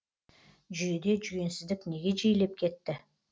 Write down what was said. жүйеде жүгенсіздік неге жиілеп кетті